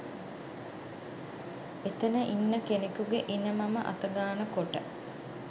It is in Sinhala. එතන ඉන්න කෙනෙකුගේ ඉණ මම අතගාන කොට